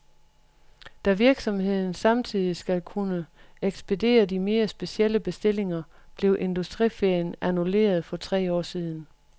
Da virksomheden samtidig skal kunne ekspedere de mere specielle bestillinger, blev industriferien annulleret for tre år siden.